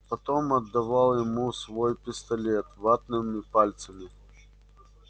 потом отдавал ему свой пистолет ватными пальцами